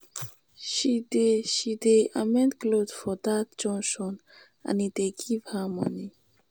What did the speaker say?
she dey she dey amend clothe for dat junction and e dey give her moni.